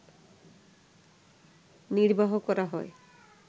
নির্বাহ করা হয়